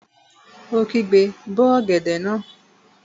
Ó kígbe, 'bó ọ̀gẹ̀dẹ̀ náà!